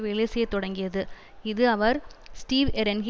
வேலைசெய்யத் தொடங்கியது இது அவர் ஸ்டீவ் எரென்ஹி